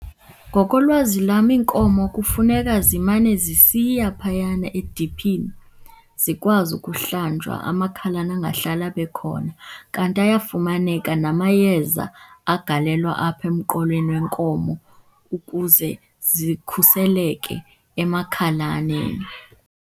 Ngokolwazi lwam iinkomo kufuneka zimane zisiya phayana ediphini zikwazi ukuhlwanjwa, amakhalane angahlali abe khona. Kanti ayafumaneka namayeza agalelwa apha emqolweni wenkomo ukuze zikhuseleke emakhalaneni.